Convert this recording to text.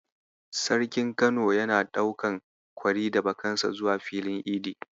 Sarkin Kano yana ɗaukan kwari da bakansa zuwa filin idi.